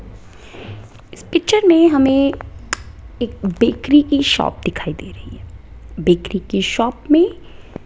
इस पिक्चर में हमें एक बेकरी की शॉप दिखाई दे रही है बेकरी के शॉप में --